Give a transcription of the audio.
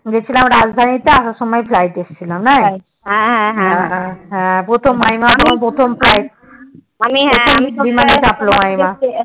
গিয়েছিলাম রাজধানী তে আসার সময় Flight এসেছিলাম প্রথম মাইমার প্রথম Flight